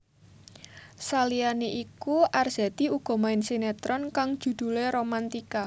Saliyane iku Arzetti uga main sinetron kang judhulé Romantika